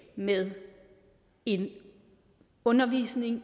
med en undervisning